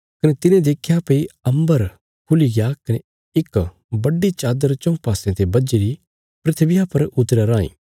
कने तिने देख्या भई अम्बर खुली गया कने इक बड्डी चादर चऊँ पासयां ते बझीरी धरतिया पर उतरया राईं